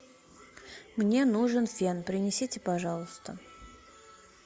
мне нужен фен принесите пожалуйста